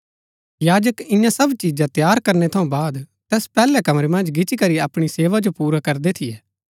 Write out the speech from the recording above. याजक इन्या सब चीजा तैयार करनै थऊँ बाद तैस पैहलै कमरै मन्ज गिच्ची करी अपणी सेवा जो पुरा करदै थियै